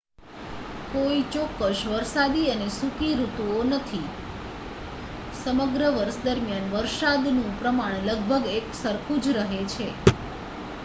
"કોઈ ચોક્કસ "વરસાદી" અને "સૂકી" ઋતુઓ નથી: સમગ્ર વર્ષ દરમિયાન વરસાદનું પ્રમાણ લગભગ એકસરખું જ રહે છે.